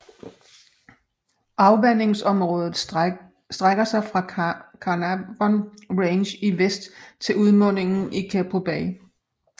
Afvandingsområdet strække sig fra Carnarvon Range i vest til udmundingen i Keppel Bay